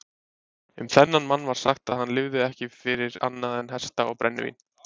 Um þennan mann var sagt að hann lifði ekki fyrir annað en hesta og brennivín.